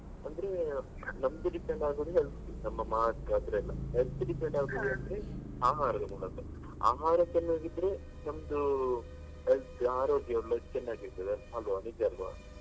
ಅಂದ್ರೆ ನಮ್ದು depend ಆಗುದು health ನಮ್ಮ mark ಅದೆಲ್ಲ health depend ಆಗುದಂದ್ರೆ ಆಹಾರದ ಮೂಲಕ ಆಹಾರ ಚೆನ್ನಾಗಿದ್ರೆ ನಮ್ದು health ಆರೋಗ್ಯಯೆಲ್ಲ ಚೆನ್ನಾಗಿರ್ತದೆ ಅಲ್ವ ನಿಜ ಅಲ್ವ.